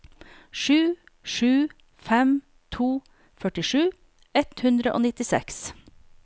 sju sju fem to førtisju ett hundre og nittiseks